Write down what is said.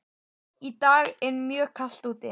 Í dag er mjög kalt úti.